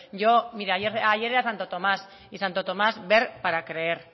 yo mire ayer era santo tomás y santo tomás ver para creer